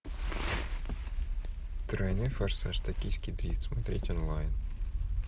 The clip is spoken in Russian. тройной форсаж токийский дрифт смотреть онлайн